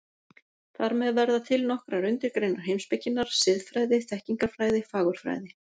Þar með verða til nokkrar undirgreinar heimspekinnar: Siðfræði, þekkingarfræði, fagurfræði.